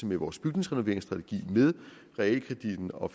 med vores bygningsrenoveringsstrategi med realkreditten og